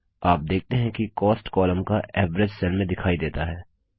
आप देखते हैं कि कॉस्ट कॉलम का एवरेज सेल में दिखाई देता है